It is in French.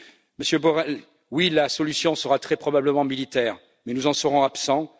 Monsieur Borrell, oui, la solution sera très probablement militaire mais nous en serons absents.